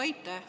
Aitäh!